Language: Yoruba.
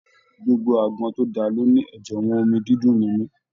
Gbogbo àgbọn tó dáa ló ní ẹjẹwọn omí dídùn nínú.